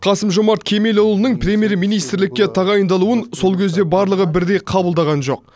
қасым жомарт кемелұлының премьер министрлікке тағайындалуын сол кезде барлығы бірдей қабылдаған жоқ